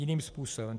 Jiným způsobem.